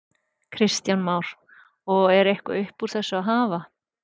Kristján Már: Og er eitthvað upp úr þessu að hafa?